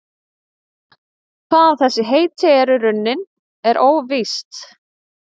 Hvaðan þessi heiti eru runnin er óvíst.